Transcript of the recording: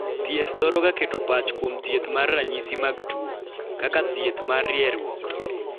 Thieth thoro ga keto pach kuom thieth mar ranyisi mag tuo (kaka thieth mar rieruok).